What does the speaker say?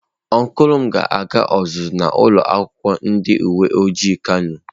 Ọncụl m ga-aga ọzụzụ na ulo akwukwo ndi uwe ojii kano.